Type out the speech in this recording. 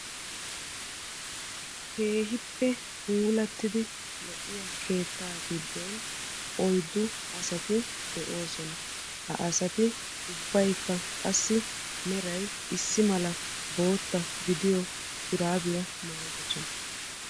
Keehippe puulattidi lo'iya keetta giddon oyiddu asati de'oosona. Ha asati ubbayikka qassi meray issi mala bootta gidiyo shuraabiya maayidosona.